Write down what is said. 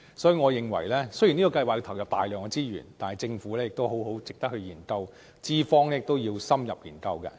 所以，我認為，雖然這計劃需要投入大量資源，但值得政府好好研究，資方亦要深入研究。